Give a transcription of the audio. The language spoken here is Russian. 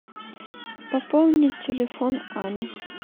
пополнить телефон ани